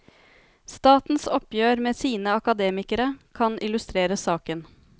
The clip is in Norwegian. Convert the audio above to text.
Statens oppgjør med sine akademikere kan illustrere saken.